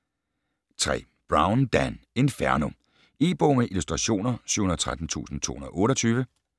3. Brown, Dan: Inferno E-bog med illustrationer 713228